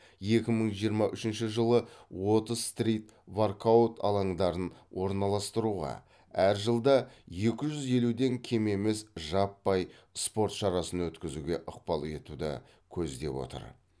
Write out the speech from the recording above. екі мың жиырма үшінші жылы отыз стрит воркаут алаңдарын орналастыруға әр жылда екі жүз елуден кем емес жаппай спорт шарасын өткізуге ықпал етуді көздеп отыр